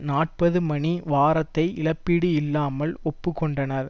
நாற்பது மணி வாரத்தை இழப்பீடு இல்லாமல் ஒப்பு கொண்டனர்